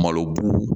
Malo bu